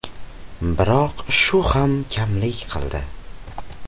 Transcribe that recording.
Biroq shu ham kamlik qildi.